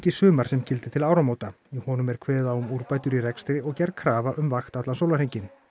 í sumar sem gildir til áramóta í honum er kveðið á um úrbætur í rekstri og gerð krafa um vakt allan sólarhringinn